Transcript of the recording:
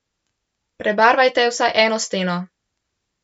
Prebarvajte vsaj eno steno.